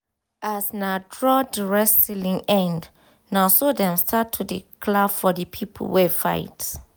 as na draw the wrestling end naso them start to dey clap for the people wey fight